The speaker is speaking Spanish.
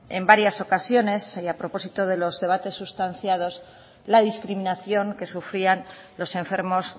en varias ocasiones y a propósito de los debates sustanciados la discriminación que sufrían los enfermos